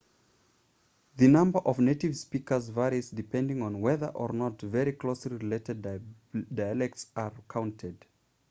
the number of native speakers varies depending on whether or not very closely related dialects are counted